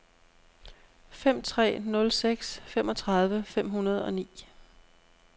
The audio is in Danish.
fem tre nul seks femogtredive fem hundrede og ni